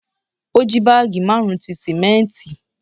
O ji baagi marun ti simẹnti